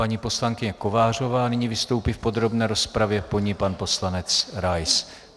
Paní poslankyně Kovářová nyní vystoupí v podrobné rozpravě, po ní pan poslanec Rais.